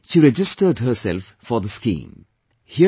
And then she registered herself for the scheme